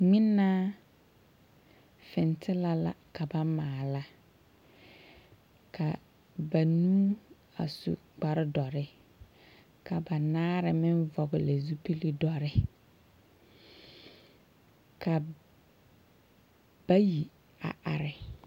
16623. Ŋmenaa fentela la ka ba maala. Ka banuu a su kpar dɔre. Ka banaare meŋ vɔgle zupili dɔre. Ka bayi a are.